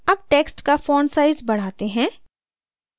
अब text का font size बढ़ाते हैं